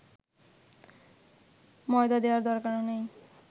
ময়দা দেওয়ার দরকার নেই